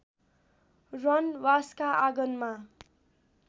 रनबासका आँगनमा